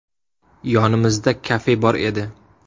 Yonimizda kafe bor edi.